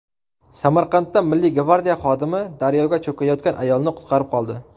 Samarqandda Milliy gvardiya xodimi daryoda cho‘kayotgan ayolni qutqarib qoldi.